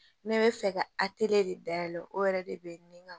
N bɛ bɛ fɛ ka de dayɛlɛ o yɛrɛ de bɛ ne ka